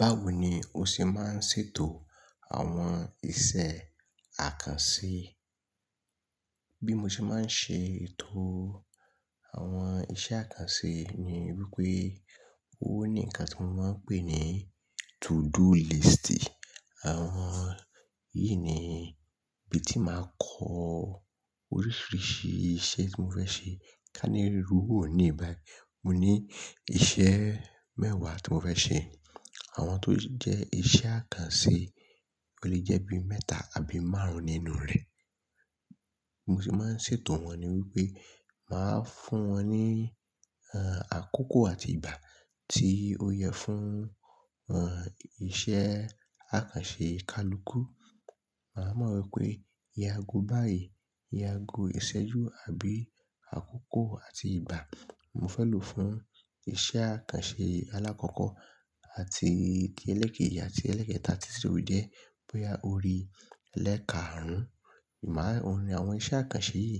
Báwo ni o ṣe máa ń ṣètò àwọn iṣẹ́ àkànṣe? Bí mo ṣe máa ń ṣe ètò àwọn iṣẹ́ àkànṣe ni wípé ó ní nǹkan tí mo máa ń pè ní to do list. Àwọn yìí ni ibi tí màá kọ oríṣiríṣi iṣẹ́ tí mo fẹ́ ṣe. Kání irú òníi bái, mo ní iṣẹ́ mẹ́wàá tí mo fẹ́ ṣe. Àwọn tó jẹ́ iṣẹ́ àkànṣe lè jẹ́ bí mẹ́ta àbí márùn-ún nínú rẹ̀. Mo sì máa ń ṣètò wọn ni wípé màá fún wọn ní, ẹ́, àkókò àti ìgbà tí ó yẹ fún, ẹ́, iṣẹ́ àkànṣe kalukú. Màá mọ̀ wípé iye ago báyìí, iye ago ìṣẹ́jú àbí àkókò àti ìgbà mo fẹ́ lò fún iṣẹ́ àkànṣe alákọ̀ọ́kọ́ àti ti ẹlẹ́ẹ̀kejì àti ẹlẹ́ẹ̀kẹta títí tó jẹ́ bóyá orí elẹ́kaàrún. Má, oun ni àwọn iṣẹ́ àkànṣe yìí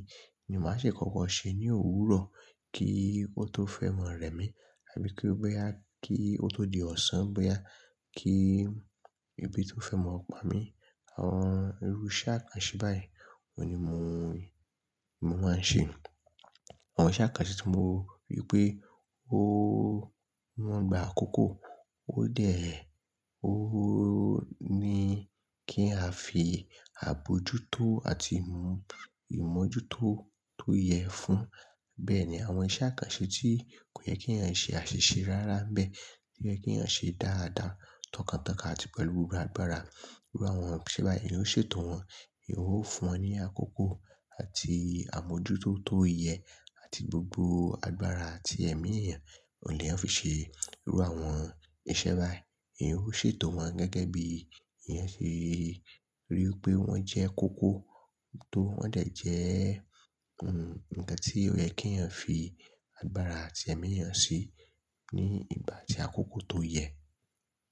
ni màá ṣe kọ̀ọ̀kó ṣe ní òwúrọ̀ kí ó tó fẹ́ mọ rẹ̀ mí àbí kí ó tó, bóyá kí ó tó di ọ̀sán, bóyá kí ebi tó fẹ́ mọ pamí. Àwọn irú iṣẹ́ àkànṣe báyìí òun ni mò ń, mo máa ń ṣe. Àwọn iṣẹ́ àkànṣe tí mo rí pé ó wọ́n gba àkókò ó dẹ̀, ó ni kí a fi àbojútó àti ìmù, ìmójútó tó yẹ fún. Bẹ́ẹ̀ ni àwọn iṣẹ́ àkànṣe tí kò yẹ kí ènìyàn ṣe àṣìṣe rárá nbẹ́ẹ̀, tó yẹ k'èèyàn ṣe dáadáa, tọkàntọkàn àti pẹ̀lú gbogbo agbára. Irú àwọn iṣẹ́ báyìí èèyàn ó ṣètò wọn, èèyàn o fúnwọn ní àkókò àti àmójútó tó yẹ àti gbogbo agbára àti ẹ̀mí èèyàn oun l'èèyàn fi ṣe irú àwọn iṣẹ́ báyìí. Ó ṣètò wọn gẹ́gẹ́ bíi èèyàn ṣe rí pé wọ́n jẹ́ kókó tó wọ́n dè jẹ́, ẹ́, nǹkan tí ó yẹ kí èèyàn fi agbára àti ẹ̀mí èèyàn se ní ìgbà àti àkókò tó yẹ.